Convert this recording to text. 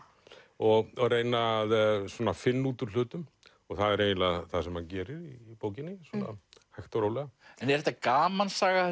og reyna svona að finna út úr hlutum það er eiginlega það sem hann gerir í bókinni svona hægt og rólega en er þetta gamansaga